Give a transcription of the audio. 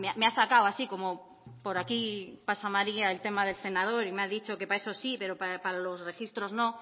me ha sacado así como por aquí pasa maría el tema del senador y me ha dicho para eso sí pero para los registros no